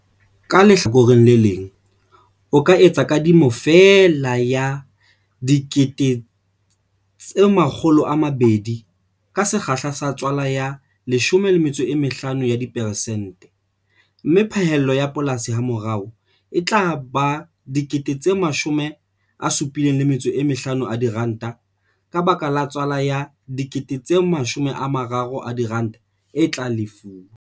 Ka lehlakoreng le leng, o ka etsa kadimo feela ya R200 000 ka sekgahla sa tswala ya 15 ya diperesente, mme phaello ya polasi hamorao e tla ba R75 000 ka baka la tswala ya R30 000 e tla lefuwa.